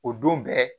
O don bɛɛ